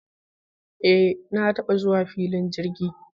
Eh! Na taba zuwa filin jirgi.